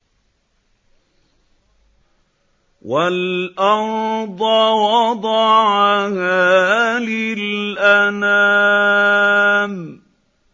وَالْأَرْضَ وَضَعَهَا لِلْأَنَامِ